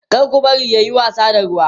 kar ku barshi yayi wasa da ruwa